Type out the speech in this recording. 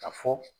Ka fɔ